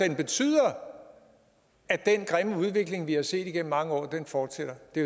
den betyder at den grimme udvikling vi har set igennem mange år fortsætter det